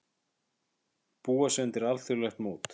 Búa sig undir alþjóðlegt mót